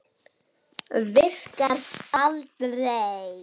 Virkar aldrei.